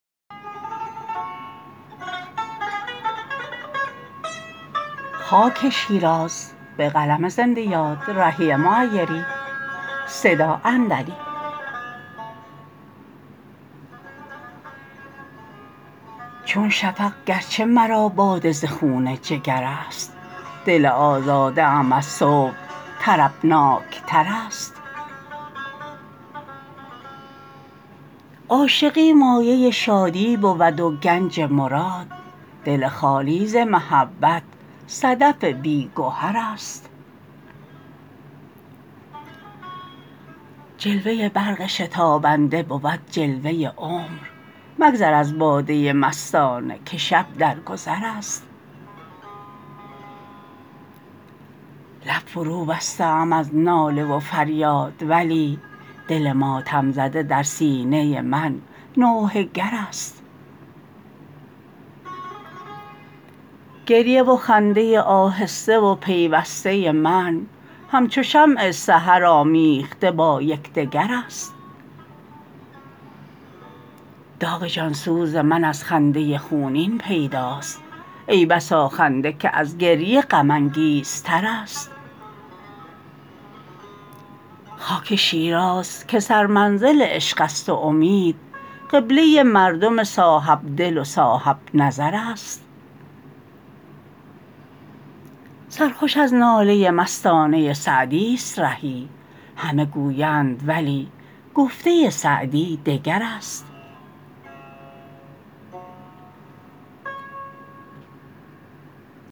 چون شفق گرچه مرا باده ز خون جگر است دل آزاده ام از صبح طربناک تر است عاشقی مایه شادی بود و گنج مراد دل خالی ز محبت صدف بی گهر است جلوه برق شتابنده بود جلوه عمر مگذر از باده مستانه که شب در گذر است لب فروبسته ام از ناله و فریاد ولی دل ماتم زده در سینه من نوحه گر است گریه و خنده آهسته و پیوسته من هم چو شمع سحر آمیخته با یکدگر است داغ جان سوز من از خنده خونین پیداست ای بسا خنده که از گریه غم انگیزتر است خاک شیراز که سرمنزل عشق است و امید قبله مردم صاحب دل و صاحب نظر است سرخوش از ناله مستانه سعدی است رهی همه گویند ولی گفته سعدی دگر است